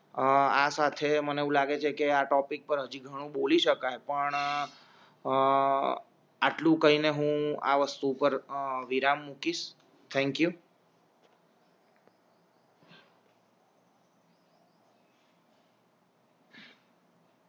અ આ સાથે મને એવું લાગે છે કે આ ટોપિક પર હજી ઘણું બોલી શકાય પણ અ આટલું કહીને હું આવસ્તુ પર વિરામ મુકિસ થેંક્યુ